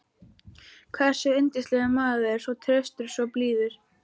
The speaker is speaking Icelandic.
hversu yndislegur maður, svo traustur, svo blíður.